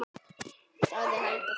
sagði Helga þá.